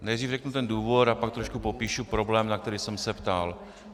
Nejdřív řeknu ten důvod a pak trošku popíšu problém, na který jsem se ptal.